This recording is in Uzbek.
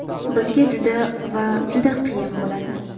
Bizga juda va juda qiyin bo‘ladi.